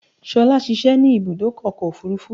Ṣolá ṣiṣẹ́ ní ibùdó ọkọ̀ òfúrúfú.